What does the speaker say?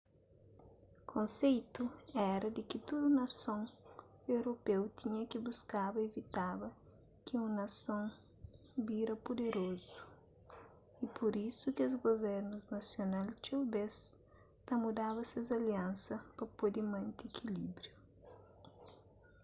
konseitu éra di ki tudu nason europeu tinha ki buskaba ivitaba ki un nason bira puderozu y pur isu kes guvernus nasional txeu bês ta mudaba ses aliansas pa pode mante ikilíbriu